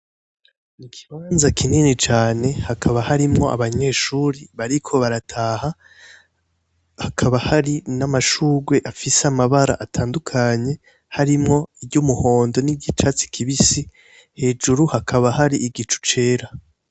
Ikibanza kinini cane hakaba harimwo abanyeshuri bariko barataha hakaba hari namashurwe afise amabara atandukanye harimwo iryumuhondo iryicatsi kibisi hejuru hakaba hari igicucera